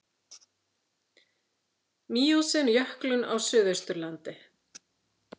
Míósen jöklun á Suðausturlandi.